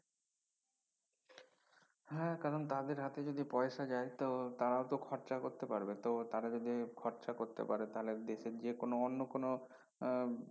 হ্যা কারন তাদের হাতে যদি পয়সা যায় তো তারা তো খরচা করতে পারবে তো তারা যদি খরচা করতে পারে তাহলে দেশের যে কোনো অন্য কোনো আহ